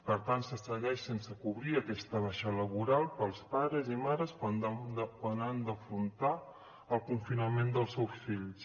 per tant se segueix sense cobrir aquesta baixa laboral per als pares i mares quan han d’afrontar el confinament dels seus fills